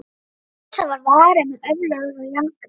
inu sem var varin með öflugri járngrind.